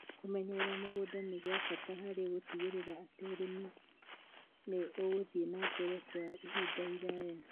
Kũmenyerera mĩgũnda nĩ gwa bata harĩ gũtigĩrĩra atĩ ũrĩmi nĩ ũgũthie na mbere kwa ihinda iraya.